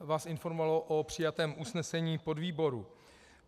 vás informoval o přijatém usnesení podvýboru.